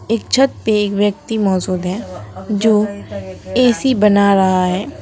एक छत पे एक व्यक्ति मौजूद है जो ए_सी बना रहा है।